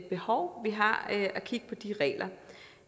behov vi har at kigge på de regler